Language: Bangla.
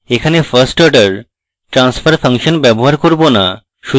এখানে first order transfer function ব্যবহার করব in